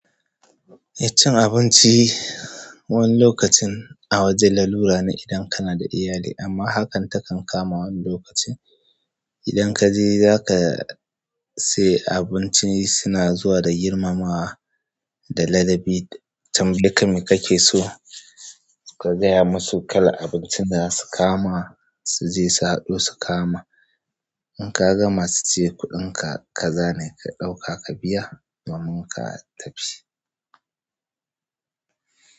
Eh cin abinci wani lokacin a wajen lalura ne idan kana da iyali amma hakan takan kamawa wani lokacin. Idan kaje zaka sai abinci suna zuwa da girmamawa da ladabi. Chan dukkan me kake so ka gaya musu kalar abincin da zasu kawo ma suje su haɗo su kawo ma. In ka gama su ce kuɗinka kaza ne ka ɗauka ka biya domin ka tafi.